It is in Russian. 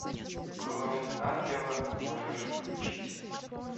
кровь ангела можешь включить